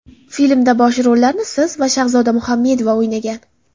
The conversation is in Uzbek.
Filmda bosh rollarni siz va Shahzoda Muhamedova o‘ynagan.